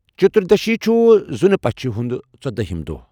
چتردشی چھُ زُنہٕ پَچھہِ ہُنٛد ژٔداہِم دۄہ۔